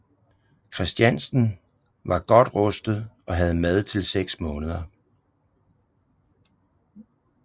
Kristiansten var godt rustet og havde mad til seks måneder